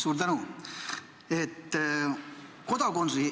Suur tänu!